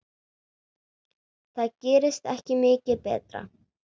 Það gerist ekki mikið betra.